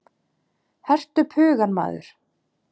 Hertu upp hugann maður!